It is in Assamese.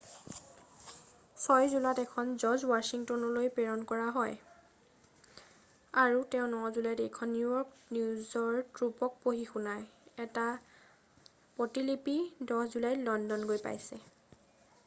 6 জুলাইত এখন জৰ্জ ৱাশ্বিংটনলৈ প্ৰেৰণ কৰা হয় তেওঁ 9 জুলাইত এইখন নিউ য়ৰ্কত নিজৰ ট্ৰুপক পঢ়ি শুনায় এটা প্ৰতিলিপি 10 জুলাইত লণ্ডন গৈ পাইছে